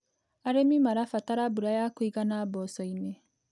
Arĩmi marabatara mbura ya kũigana mboco-inĩ.